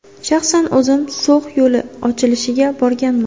Shaxsan o‘zim So‘x yo‘li ochilishiga borganman.